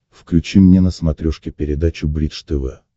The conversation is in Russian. включи мне на смотрешке передачу бридж тв